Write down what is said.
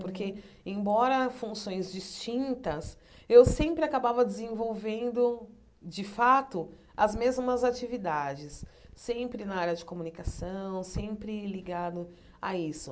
Porque, embora funções distintas, eu sempre acabava desenvolvendo, de fato, as mesmas atividades, sempre na área de comunicação, sempre ligado a isso.